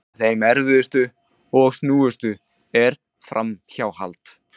Eitt af þeim erfiðustu og snúnustu er framhjáhald.